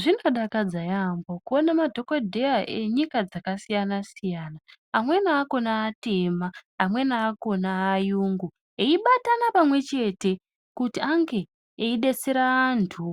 Zvinodakadza yampho kuona madhokodheya enyika dzakasiyana siyana amweni akona atema amweni akona ayungu vleibatana pamwechete kuti ange eidetsere antu